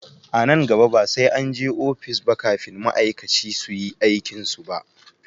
A nan gaba ba sai an je ofis ba kafin ma'aikaci su iya aikin su ba